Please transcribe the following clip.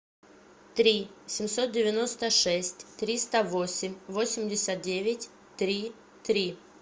три семьсот девяносто шесть триста восемь восемьдесят девять три три